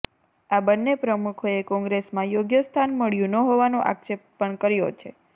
આ બન્ને પ્રમુખોએ કોંગ્રેસમાં યોગ્ય સ્થાન મળ્યું ન હોવાનો આક્ષેપ પણ કર્યો છે